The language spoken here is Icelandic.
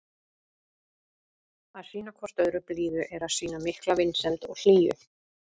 Að sýna hvort öðru blíðu er að sýna mikla vinsemd og hlýju.